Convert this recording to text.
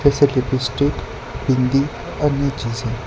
इसमें लिपस्टिक बिंदी अन्य चीजें--